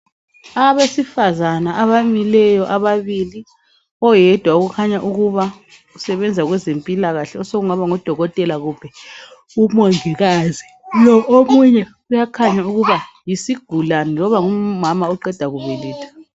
Abesifazana abamileyo ababili oyedwa ukhanya ukuba usebenza kwezempilakahle osokungaba ngu Dokotela kumbe u Mongikazi .Lo omunye uyakhanya ukuba yisigulane loba ngumama oqeda kubeletha .